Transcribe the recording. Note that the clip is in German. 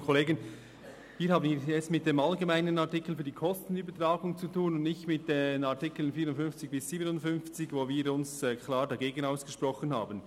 Wir haben es hier mit dem allgemeinen Artikel für die Kostenübertragung zu tun und nicht mit den Artikeln 54 bis 57, gegen welche wir uns klar ausgesprochen haben.